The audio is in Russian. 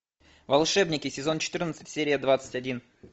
волшебники сезон четырнадцать серия двадцать один